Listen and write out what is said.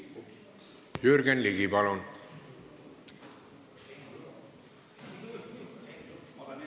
Jürgen Ligi, palun!